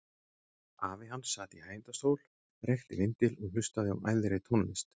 Afi hans sat í hægindastól, reykti vindil og hlustaði á æðri tónlist.